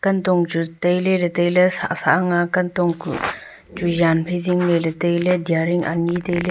tong chu tailey ley tailey sah sah ang a kantong kuh chu yan phai zing ley ley tailey diaring anyi tailey.